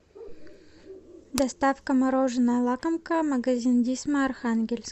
доставка мороженое лакомка магазин дисма архангельск